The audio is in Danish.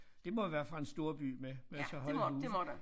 Det må være fra en storby med med så høje huse